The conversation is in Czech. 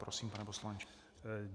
Prosím, pane poslanče.